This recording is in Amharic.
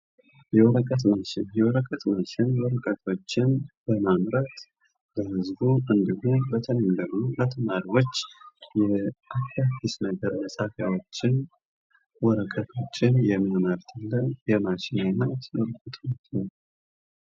የወረቀት ማሽን የወረቀት ማሽን ወረቀቶችን በማምረት ለህዝቡ በተለይም ደሞ ለተማሪዎች አዳዲስ ነገር መፃፊያዎችን ወረቀቶችን የሚያመርትልን የማሽን አይነት ነው።